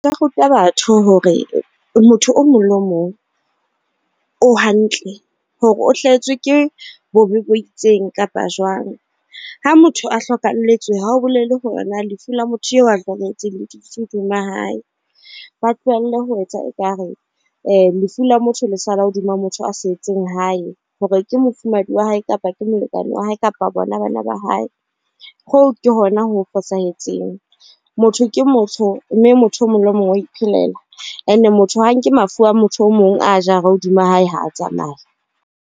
Nka ruta batho hore motho o mong le o mong o hantle hore o hlahetswe ke bobebo itseng kapa jwang ha motho a hlokalletswe, ha ho bolele hore na lefu la motho eo a hlokahetseng le dutse hodima hae. Ba tlohelle ho etsa ekare lefu la motho le sala hodima motho a setseng hae, hore ke mofumahadi wa hae kapa ke molekane wa hae kapa bona bana ba hae, ho ke hona ho fosahetseng. Motho ke motho, mme motho o mong le mong o iphelela. And motho ha nke mafu a motho o mong a jare hodima hae ha a tsamaya.